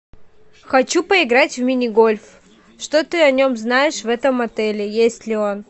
хочу поиграть в мини гольф что ты о нем знаешь в этом отеле есть ли он